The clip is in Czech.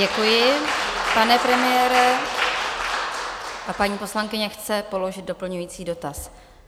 Děkuji, pane premiére, a paní poslankyně chce položit doplňující dotaz.